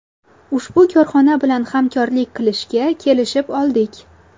Ushbu korxona bilan hamkorlik qilishga kelishib oldik.